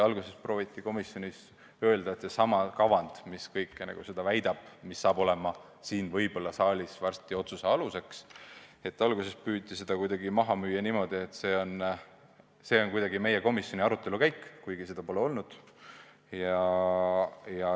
Alguses prooviti komisjonis öelda, et too kavand, mis kõike seda väidab ja mis ilmselt saab olema siin saalis varsti tehtava otsuse aluseks, kajastab kuidagi meie komisjoni arutelukäiku, kuigi seda arutelu ei olnud.